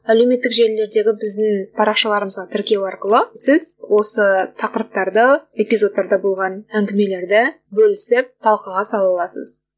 әлеуметтік желілердегі біздің парақшаларымызға тіркеу арқылы сіз осы тақырыптарды эпизодтарда болған әңгімелерді бөлісіп талқыға сала аласыз